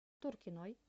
туркиной